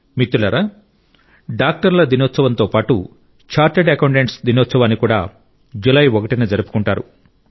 మిత్రులారా డాక్టర్ల దినోత్సవంతో పాటు చార్టర్డ్ అకౌంటెంట్స్ దినోత్సవాన్ని కూడా జూలై 1 న జరుపుకుంటారు